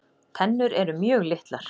Tennur eru mjög litlar.